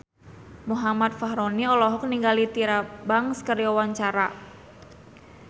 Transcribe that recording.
Muhammad Fachroni olohok ningali Tyra Banks keur diwawancara